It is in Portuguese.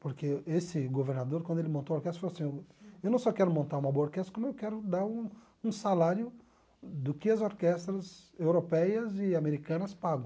Porque esse governador, quando ele montou a orquestra, falou assim, eu não só quero montar uma boa orquestra, como eu quero dar um um salário do que as orquestras europeias e americanas pagam.